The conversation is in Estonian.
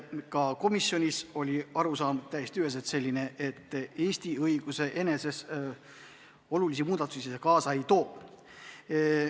Ka komisjonis oli arusaam täiesti üheselt selline, et Eesti õiguses olulisi muudatusi see kaasa ei too.